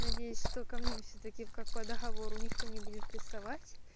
надеюсь что ко мне всё-таки как по договору никто не будет приставать